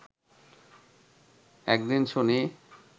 এক দিন শুনি